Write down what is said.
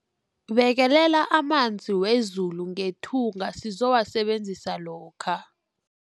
Bekelela amanzi wezulu ngethunga sizowasebenzisa lokha.